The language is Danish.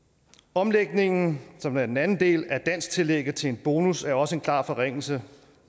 omlægningen som er den anden del af dansktillægget til en bonus er også en klar forringelse